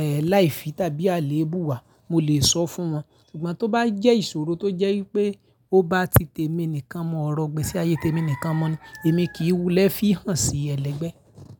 ẹ́ láì fi tàbí àléébù wá, mo lè sọ fún wọn. Sugbọn tó bá jẹ́ ìṣòro tó jẹ́ wípé ó bá ti tèmi nìkan mu ọrọ̀ igbé sí ayé tèmi nìkan mu ni, èmi kì í wulẹ̀ fihàn sí ẹlẹgbẹ́.